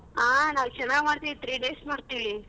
ಹ ನಾವ್ ಚೆನ್ನಾಗ ಮಾಡ್ತೀವಿ three days ಮಾಡ್ತೀವಿ.